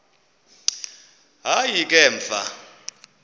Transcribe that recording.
hayi ke emva